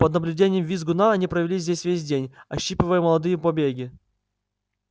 под наблюдением визгуна они провели здесь весь день ощипывая молодые побеги